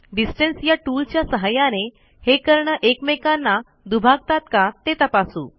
distance या टूलच्या सहाय्याने हे कर्ण एकमेकांना दुभागतात का ते तपासू